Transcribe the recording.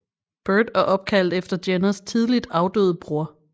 Burt er opkaldt efter Jenners tidligt afdøde bror